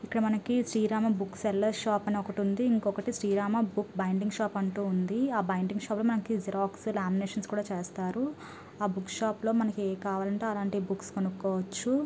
ఇక్కడ మనకి Srirama book sellers shop అని ఒకటుంది. ఇంకొకటి శ్రీరామ బుక్ బైన్డింగ్ షాప్ అంటూ ఉంది. ఆ బైన్డింగ్ షాప్ లో మనకు జిరాక్స్ లామినేషన్స్ కూడా చేస్తారు. ఆ బుక్ షాపులో మనకు ఎం కావాలంటే అలాంటి బుక్స్ కొనుకోవచ్చు.